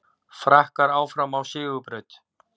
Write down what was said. Frakkar áfram á sigurbraut